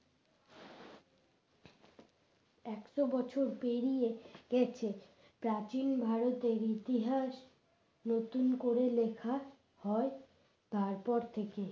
একশ বছর পেরিয়ে গেছে প্রাচীন ভারতের ইতিহাস নতুন করে লেখা হয় তারপর থেকে